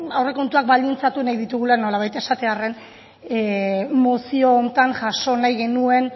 aurrekontuak baldintzatu nahi ditugula nolabait esatearren mozio honetan jaso nahi genuen